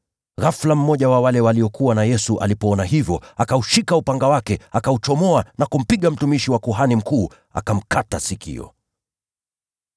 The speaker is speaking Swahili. Ghafula mmoja wa wale waliokuwa na Yesu alipoona hivyo, akaushika upanga wake, akauchomoa na kumpiga mtumishi wa kuhani mkuu, akamkata sikio.